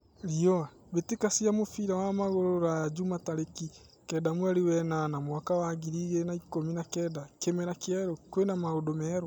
(Riũa) Mbĩtĩka cĩa mũbira wa magũrũ Ruraya Jumaa tarĩki kenda mweri wenana mwaka wa ngiri igĩrĩ na ikũmi na kenda: Kĩmera kĩerũ, kwĩna maũndũ merũ?